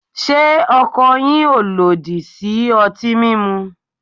Se ọkọ yin o lodi si ọti mimu?